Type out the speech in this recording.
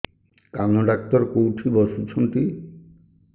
କାନ ଡକ୍ଟର କୋଉଠି ବସୁଛନ୍ତି